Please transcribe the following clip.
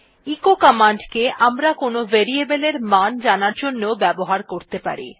echo command কে আমরা কোনো ভেরিয়েবল এর মান জানার জন্য ব্যবহার করতে পারি